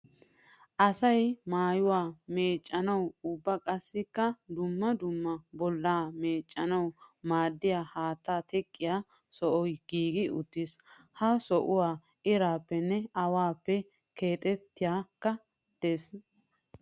Asay maayuwa meecanawunne ubba qassikka dumma dumma bolla meecanawu maadiya haatta teqqiya sohoh giiggi uttiis. Ha sohuwa irappenne awappe keettaykka de'ees.